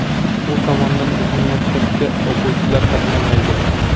U tomondan bizning maktabga o‘quvchilar qatnamaydi.